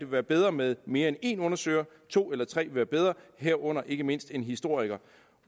være bedre med mere end én undersøger to eller tre vil være bedre herunder ikke mindst en historiker